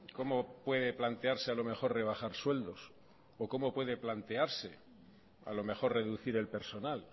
cómo puede plantearse a lo mejor rebajar sueldos o cómo puede plantearse a lo mejor reducir el personal